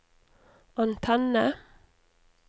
antenne